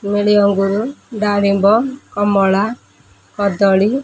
ନେଳି ଅଙ୍ଗୁରୁ ଡାଳିମ୍ବ କମଳା କଦଳୀ--